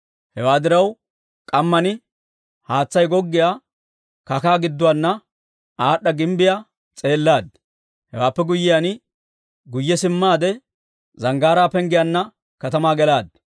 Hewaa diraw, k'amman haatsay goggiyaa kakkaa gidduwaana aad'd'a gimbbiyaa s'eellaad. Hewaappe guyyiyaan, guyye simmaade Zanggaaraa Penggiyaanna katamaa gelaad.